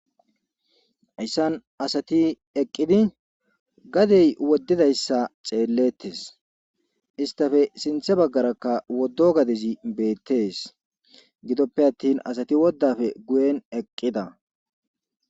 Ayssan asati eqqidi gadey woddidayssa xeellettes istafe sinthe baggarakka woddo gadezi beettees gidoppe attin asati woddafe guyen eqqida.